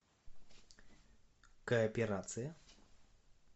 кооперация